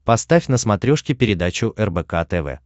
поставь на смотрешке передачу рбк тв